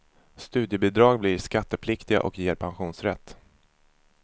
Studiebidrag blir skattepliktiga och ger pensionsrätt.